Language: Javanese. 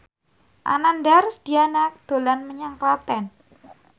Ananda Rusdiana dolan menyang Klaten